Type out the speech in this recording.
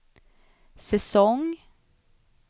säsong